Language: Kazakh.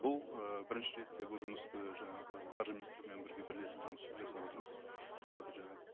бұл ы бірінші ретте бұл жұмысты жаңағы қаржы министрлігімен бірге бірлесіп жұмыс жасап отырмыз мындағы жаңа